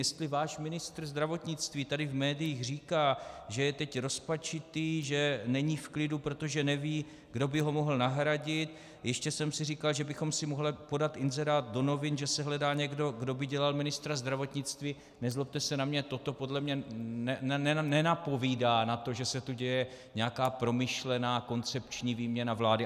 Jestli váš ministr zdravotnictví tady v médiích říká, že je teď rozpačitý, že není v klidu, protože neví, kdo by ho mohl nahradit - "ještě jsem si říkal, že bychom si mohli podat inzerát do novin, že se hledá někdo, kdo by dělal ministra zdravotnictví"- , nezlobte se na mě, toto podle mě nenapovídá na to, že se tu děje nějaká promyšlená koncepční výměna vlády.